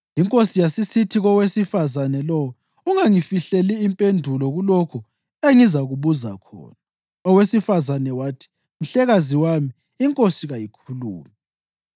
Inkosi yasisithi kowesifazane lowo, “Ungangifihleli impendulo kulokhu engizakubuza khona.” Owesifazane wathi “Mhlekazi wami, inkosi kayikhulume.”